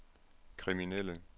kriminelle